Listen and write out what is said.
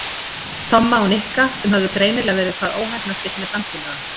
Tomma og Nikka sem höfðu greinilega verið hvað óheppnastir með dansfélaga.